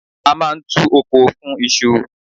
A máa ń tu oko fún iṣu.